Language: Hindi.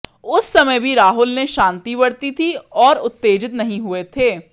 उस समय भी राहुल ने शांति बरती थी और उत्तेजित नहीं हुए थे